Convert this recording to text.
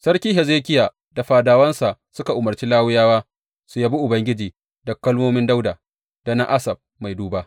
Sarki Hezekiya da fadawansa suka umarci Lawiyawa su yabi Ubangiji da kalmomin Dawuda da na Asaf mai duba.